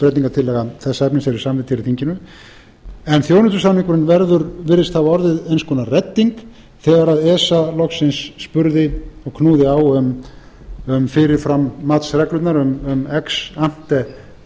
breytingartillaga þess efnis yrði samþykkt hér í þinginu en þjónustusamningurinn virðist hafa orðið eins konar redding þegar esa loksins spurði og knúði á um fyrirfram matsreglurnar um ex ante regluverkið ég